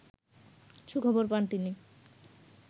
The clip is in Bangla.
সুখবর পান তিনি